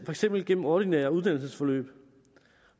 eksempel gennem ordinære uddannelsesforløb